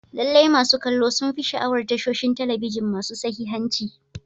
Lallai, masu kallo sun fi sha'awar tashoshin talabijin masu sahihanci.